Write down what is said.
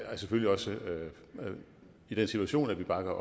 selvfølgelig også i den situation at vi bakker